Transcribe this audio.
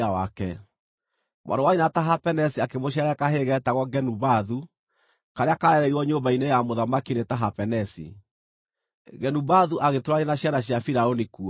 Mwarĩ wa nyina na Tahapenesi akĩmũciarĩra kahĩĩ geetagwo Genubathu karĩa kaarereirwo nyũmba-inĩ ya mũthamaki nĩ Tahapenesi. Genubathu agĩtũũrania na ciana cia Firaũni kuo.